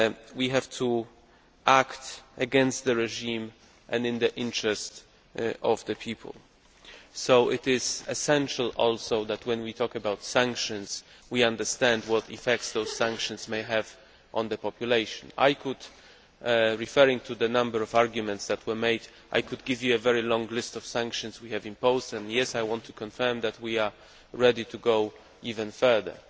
We have to act against the regime and in the interests of the people, so it is essential that when we talk about sanctions we understand what effects those sanctions may have on the population. I could, referring to the number of arguments that were made, give you a very long list of the sanctions we have imposed and, yes, I want to confirm that we are ready to go even further,